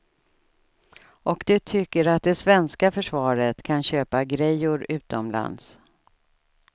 Och de tycker att det svenska försvaret kan köpa grejor utomlands.